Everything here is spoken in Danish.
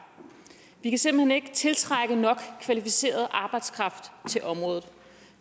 vi kan simpelt hen ikke tiltrække nok kvalificeret arbejdskraft til området